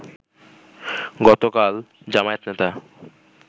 গতকাল জামায়াত নেতা